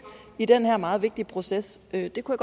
i den her meget vigtige proces det kunne